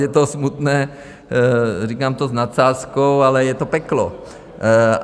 Je to smutné, říkám to s nadsázkou, ale je to peklo.